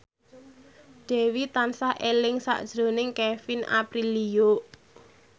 Dewi tansah eling sakjroning Kevin Aprilio